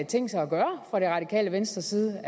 tænkt sig at gøre fra det radikale venstres side